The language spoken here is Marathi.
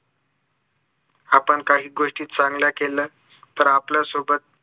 आपण काही गोष्टी चांगल्या केल्या तर आपल्या सोबत